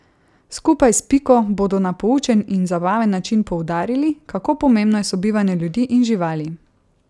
Skupaj s Piko bodo na poučen in zabaven način poudarili, kako pomembno je sobivanje ljudi in živali.